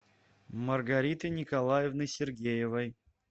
маргариты николаевны сергеевой